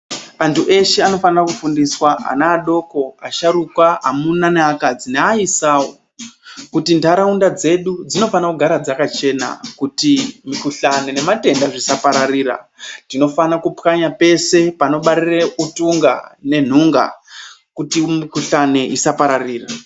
Vanthu veshe vanofanira kufundiswa ana adoko asharukwa amuna neakadzi neaisao kuti ntharaunda dzedu dzinofane kugara dzakachena kuti mukuhlani nematenda zvisapararira tinofana kupwanya pese panobarire utunga nenhunga kuti mikuhlani isapararire.